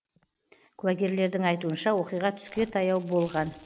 куәгерлердің айтуынша оқиға түске таяу болған